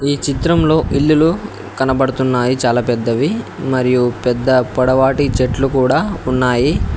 ఈ చిత్రంలో ఇల్లులు కనబడుతున్నాయి చాలా పెద్దవి మరియు పెద్ద పొడవాటి చెట్లు కూడా ఉన్నాయి.